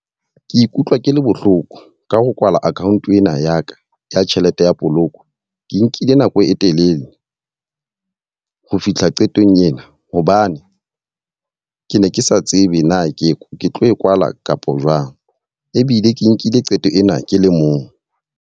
Ke ikutlwa ke le bohloko ka ho kwala account ena ya ka ya tjhelete ya poloko. Ke nkile nako e telele ho fihla qetong ena hobane ke ne ke sa tsebe na ke tlo e kwala kapa jwang. Ebile ke nkile qeto ena ke le mong.